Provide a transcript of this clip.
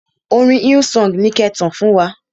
Orin Hillsong ni ki e tàn fún wa.